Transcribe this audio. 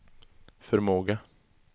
förmåga